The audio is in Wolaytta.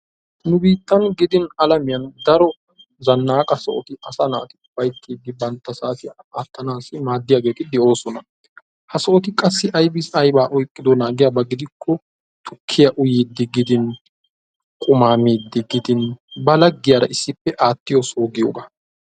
Nu biittan gidin alamiyaan daro zannaqa sohoy asaa naati ufayttidi bantta saatiyan aattanaasi maaddiyaageti de"oosona. ha sohoti qaassi aybaa aybaa oyqqidoonaa giyaaba gidikko tukkiyaa uyyiidi qumaa miidi giidin ba laggiyaara issippe aattiyoo soho giyoogaa.